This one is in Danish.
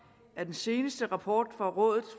af den seneste rapport fra rådet